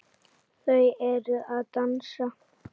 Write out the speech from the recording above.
Þau eru að dansa